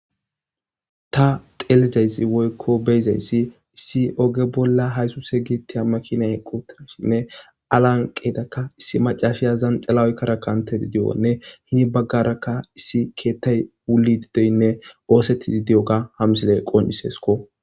Ta xeellizayssi woykko beyizayssi issi oge bolla haysuse giittetiya makina eqqi uttashinne aa lanqeedakka issi macaashiya zanxela oykkada kantedi de'iyonne hini baggarakka issi keettay wulidi doynne oosettidi de'oga hamsile qoncciseesko.